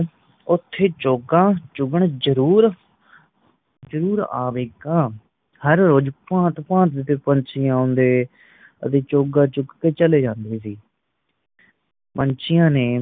ਉਤੇ ਚੋਗਾ ਚੁਗਣ ਜਰੂਰ ਜਰੂਰ ਆਵੇਗਾ ਹਰ ਰੋਜ ਭਾਂਤ ਭਾਂਤ ਦੇ ਪੰਛੀਆਂ ਆਂਦੇ ਕਦੇ ਚੋਗਾ ਚੁੰਗ ਕੇ ਚਲੇ ਜਾਂਦੇ ਪੰਛੀਆਂ ਨੇ